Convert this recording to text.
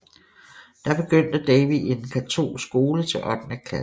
Der begyndte Davey i en katolsk skole til ottende klasse